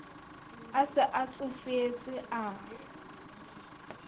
a se a tsofetse a